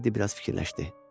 Teddi biraz fikirləşdi.